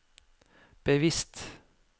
bevisst